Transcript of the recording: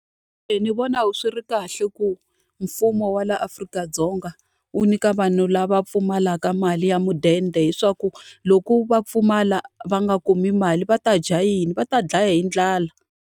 Ni vona swi ri kahle ku mfumo wa laha Afrika-Dzonga wu nyika vanhu lava pfumalaka mali ya mudende, leswaku loko va pfumala va nga kumi mali va ta dya yini, va ta dlaya hi ndlala.